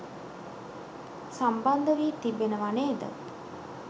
සම්බන්ධ වී තිබෙනවා නේද?